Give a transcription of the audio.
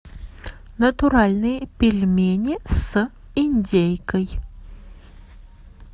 натуральные пельмени с индейкой